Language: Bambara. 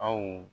Aw